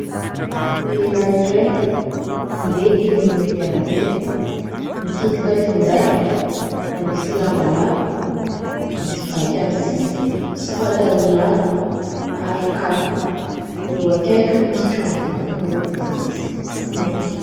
lehilahy iray mandeha eny amorony arabe, mikitika finday manisy lamba lava, misy vaky amin'ny sisiny sy pataloha lava ary kapa, eo akaiky no misy trano vato miloko fotsy sy maitso.